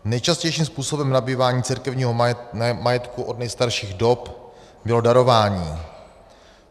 Nejčastějším způsobem nabývání církevního majetku od nejstarších dob bylo darování.